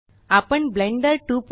आपण ब्लेंडर 259